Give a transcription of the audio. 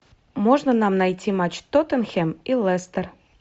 можно нам найти матч тоттенхэм и лестер